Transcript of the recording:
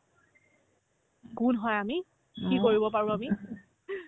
কোন হয় আমি কি কৰিব পাৰো আমি